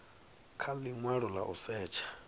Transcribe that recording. kha linwalo la u setsha